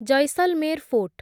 Jaisalmer fort